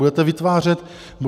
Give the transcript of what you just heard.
Budete vytvářet díry.